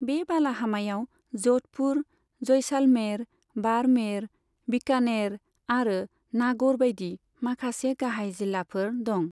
बे बालाहामायाव ज'धपुर, जयसालमेर, बाड़मेर, बीकानेर आरो नागौर बायदि माखासे गाहाय जिल्लाफोर दं।